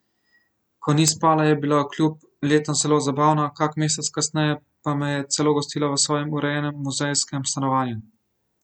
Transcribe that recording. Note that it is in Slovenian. Ko ni spala, je bila kljub letom zelo zabavna, kak mesec kasneje pa me je celo gostila v svojem urejenem, muzejskem stanovanju.